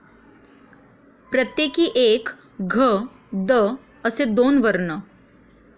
प्रत्येकी एक घ, द, असे दोन वर्ण.